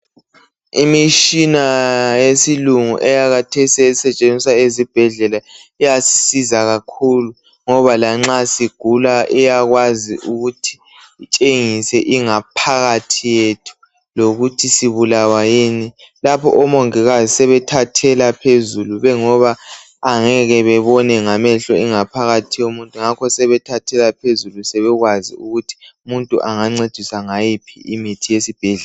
Imitshina yesilungu yakhathesi esetshenziswa ezibhedlela iyasisiza kakhulu ngoba lanxa sigula iyakwazi ukuthi itshengiea ingaphakathi yethu lokuthi sibulawa yini lapha omongikazi sebethathela phezulu ngoba angeke bebone ngamehlo ingaphakathi yomuntu ngakho sebethathela phezulu sebekwazi ukuthi umuntu engancediswa ngayiphi imithi yesibhedlela.